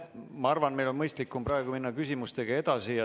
Ma arvan, et meil on mõistlikum minna küsimustega edasi.